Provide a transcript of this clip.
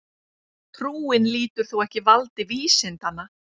Trúin lýtur þó ekki valdi vísindanna.